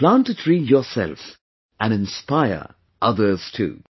Plant a tree yourself and inspire others too